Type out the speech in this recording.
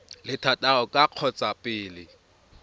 le thataro ka kgotsa pele